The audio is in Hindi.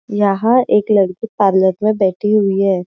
यहां एक लड़की पार्लर में बैठी हुई है।